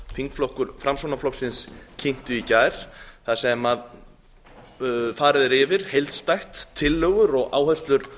þingflokkur framsóknarflokksins kynnti í gær þar sem farið er yfir heildstætt tillögur og áherslur